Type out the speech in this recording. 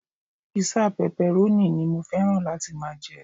Písà pepperoni ni mo fẹ́ràn láti máa jẹ.